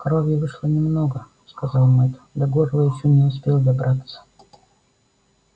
крови вышло немного сказал мэтт до горла ещё не успел добраться